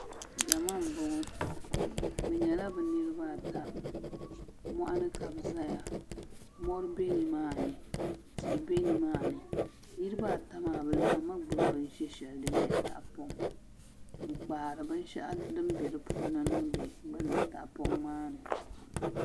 Zama n boŋo bi nyɛla bi niraba ata moɣani ka bi biɛ maa mori bɛ nimaani tihi bɛ nimaani niraba ata maa bi laɣammi gbubi binshɛ shɛli din nyɛ tahapoŋ n kpaari binshaɣu din bɛ di puuni niŋdi lala tahapoŋ maa ni